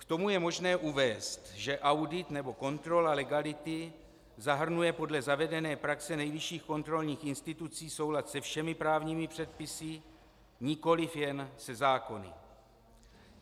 K tomu je možné uvést, že audit nebo kontrola legality zahrnuje podle zavedené praxe nejvyšších kontrolních institucí soulad se všemi právními předpisy, nikoli jen se zákony.